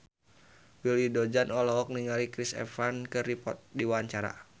Willy Dozan olohok ningali Chris Evans keur diwawancara